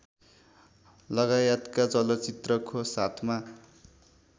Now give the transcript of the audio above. लगायतका चलचित्रको साथमा